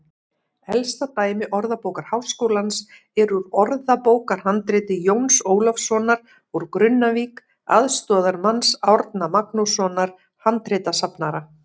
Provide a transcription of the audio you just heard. Elsta dæmi Orðabókar Háskólans er úr orðabókarhandriti Jóns Ólafssonar úr Grunnavík, aðstoðarmanns Árna Magnússonar handritasafnara.